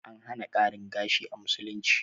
An hana ƙarin gashi a musulunci